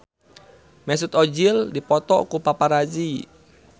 Mesut Ozil dipoto ku paparazi